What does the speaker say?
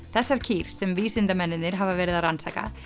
þessar kýr sem vísindamennirnir hafa verið að rannsaka